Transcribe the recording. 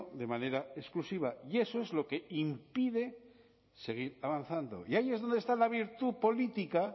de manera exclusiva y eso es lo que impide seguir avanzando y ahí es donde está la virtud política